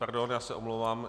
Pardon, já se omlouvám.